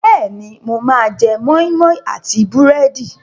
Bẹ́ẹ̀ni, mo máa jẹ́ moi moi àti búrẹ́dì.